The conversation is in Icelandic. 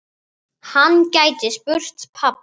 Hann gæti spurt pabba.